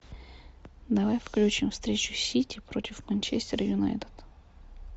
давай включим встречу сити против манчестер юнайтед